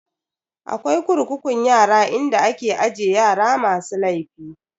Akwai kurkukun yara inda ake aje yara masu laifi.